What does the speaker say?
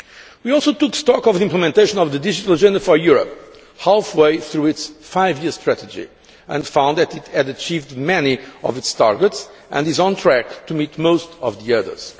We also took stock of the implementation of the Digital Agenda for Europe, halfway through its five year strategy, and found that it had achieved many of its targets and is on track to meet most of the others.